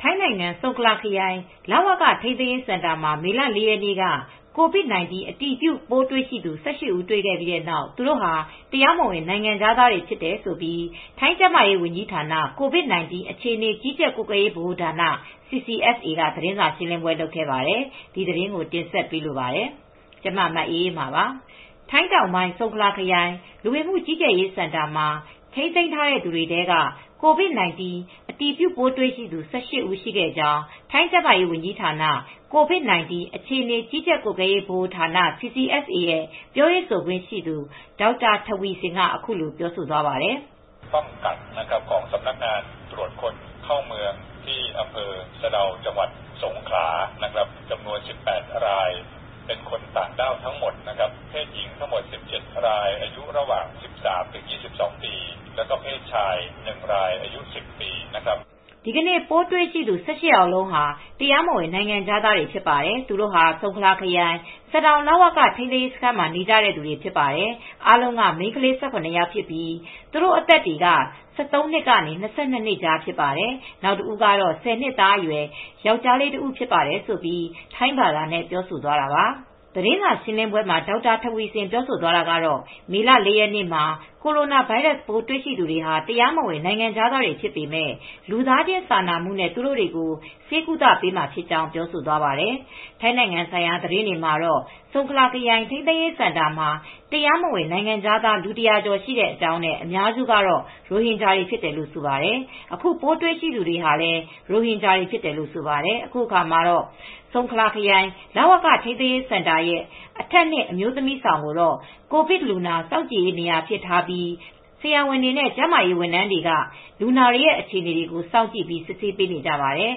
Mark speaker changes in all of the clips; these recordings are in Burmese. Speaker 1: ထိုင်းနိုင်ငံ၊ ဆုံခလာခရိုင် လဝက ထိန်းသိမ်းရေးစင်တာမှာ မေလ ၄ရက်က COVID-19 အတည်ပြုပိုး တွေ့ရှိသူ ၁၈ဦးတွေ့ရှိခဲ့ပြီး သူတို့ဟာ တရားမဝင်နိုင်ငံခြားသားတွေဖြစ်တယ်လို့ ထိုင်းကျန်းမာရေးဝန်ကြီးဌာန COVID-19 အခြေအနေကြီးကြပ်ကွပ်ကဲရေး ဗဟိုဌာန CCSA က သတင်းစာရှင်းလင်းပွဲလုပ်ခဲ့ပါတယ်။ ဒီသတင်းကို ထိုင်း-မြန်မာနယ်စပ်ကနေ မ အေးအေးမာ သတင်းပေးပို့ထားပါတယ်။ ထိုင်းတောင်ပိုင်း၊ ဆုန်ခလာခရိုင် လူဝင်မှုကြီးကြပ်ရေး စင်တာ မှာ ထိန်းသိမ်းထားသူတွေထဲက COVID-19 အတည်ပြုပိုးတွေ့ရှိသူ ၁၈ ဦး ရှိခဲ့ကြောင်း ထိုင်းကျန်းမာရေး ဝန်ကြီးဌာန COVID-19 အခြေအနေ ကြီးကြပ်ကွပ်ကဲရေး ဗဟိုဌာန CCSA ရဲ့ ပြောရေးဆိုခွင့်ရှိသူ ဒေါက်တာ Taweesin Wisanuyothin အခုလို ပြောသွားပါတယ်။ “
Speaker 2: ဒီနေ့
Speaker 1: ပိုးတွေ့ ရှိသူ ၁၈ယောက်အားလုံးက တရားမဝင် နိုင်ငံခြားသားတွေဖြစ်ပါတယ်။ သူတို့ဟာ ဆုံခလာခရိုင် စဒေါင်လဝက ထိန်းသိမ်းရေး စခန်းမှာနေကြတဲ့သူတွေ ဖြစ်တယ် ။ အားလုံးက မိန်းကလေး ၁၇ယောက်ဖြစ်ပြီး သူတို့ အသက်တွေက ၁၃ နှစ်ကနေ ၂၂ကြားဖြစ်ပါတယ်။ နောက်တဦးကတော့ ၁၀နှစ်သားအရွယ် ယောကျာၤးလေးတဦး ဖြစ်တယ်” ဆိုပြီး ထိုင်းဘာသာနဲ့ ပြောဆိုသွားတာပါ။ သတင်းစာရှင်းလင်းပွဲမှာ ဒေါက်တာထဝီဆင် ပြောသွားတာကတော့ မေလ ၄ ရက်နေ့မှာ ကိုရိုနာ ဗိုင်းရပ်စ်ပိုး တွေ့သူတွေဟာ တရားမဝင် နိုင်ငံခြားသား တွေဖြစ်ပေမယ့် လူသားချင်း စာနာမူနဲ့ သူတို့တွေကို ဆေးကုသေပေးမှာဖြစ်ကြောင်း ပြောဆိုသွားပါတယ်။ ထိုင်းနိုင်ငံဆိုင်ရာ သတင်းတွေမှာတော့ ဆုံခလာခရိုင်ထိန်းသိမ်းရေးစင်တာမှာ တရားမဝင် နိုင်ငံခြားသား လူ၁၀၀ကျော်ရှိတဲ့အကြောင်းနဲ့ အများစုကတော့ ရိုဟင်ဂျာတွေဖြစ်တယ်လို့လည်း ဆိုပါတယ်။ အခုပိုးတွေ့ရှိသူတွေထဲဟာလည်း ရိုဟင်ဂျာတွေ ဖြစ်တယ်လို့ ဆိုပါတယ်။ အခုအခါမှာ ဆုံခလာလဝက ထိန်းသိမ်းရေးစင်တာရဲ့အထပ်နှစ် အမျိုးသမီး အဆောင်ကိုတော့ ကိုဗစ်လူနာ စောင့်ကြည့်ရေးနေရာအဖြစ် ထားပြီး ဆရာဝန်တွေ ကျန်းမာရေးဝန်ထမ်းတွေက လူနာတွေ ရဲ့အခြေအနေကို စောင့်ကြည့် စစ်ဆေးပေးနေကြပါတယ်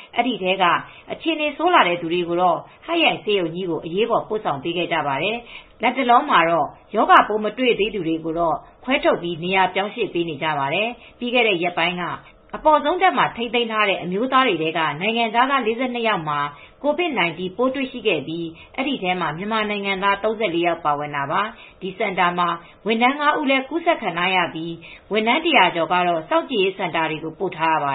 Speaker 1: ။ အဲဒီထဲက အခြေအနေ ဆိုးလာတဲ့ သူတွေကိုတော့ ဟတ်ယိုင်ဆေးရုံကို အရေးပေါ်ပို့ဆောင်ပေးခဲ့ပါတယ်။ လတ်တလောမှာတော့ ရောဂါပိုးမတွေ့သေးသူတွေကို ခွဲ ထုတ်ပြီး နေရာပြောင်းရွေ့ပေးနေကြပါတယ်။ ပြီးခဲ့တဲ့ရက်ပိုင်းက အပေါ်ဆုံးထပ်မှာ ထိန်းသိမ်ထားတဲ့ အမျိုးသားတွေထဲက နိုင်ငံခြားသား ၄၂ ယောက်မှာ ကိုဗစ် ၁၉ ပိုးတွေ့ရှိခဲ့ပြီး ဒီထဲမှာမြန်မာနိုင်ငံသား ၃၄ ယောက်ပါဝင်တာပါ။ ဒီစင်တာမှာ ဝန်ထမ်း ၅ဦိးလည်း ကူးစက်ခံထားရပြီး ဝန်ထမ်း၁၀၀ကျော်ကတော့ စောင့်ကြည့်ရေး စင်တာတွေကိုပို့ထားရပါတ